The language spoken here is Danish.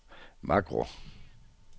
makro